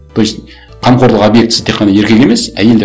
то есть қамқорлық объектісі тек қана еркек емес әйел де